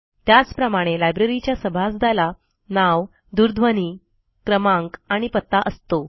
त्याचप्रमाणे लायब्ररीच्या सभासदाला नाव दूरध्वनी क्रमांक आणि पत्ता असतो